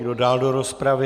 Kdo dál do rozpravy?